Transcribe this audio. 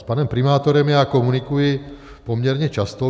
S panem primátorem já komunikuji poměrně často.